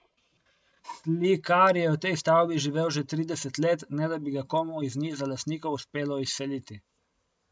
Slikar je v tej stavbi živel že trideset let, ne da bi ga komu iz niza lastnikov uspelo izseliti.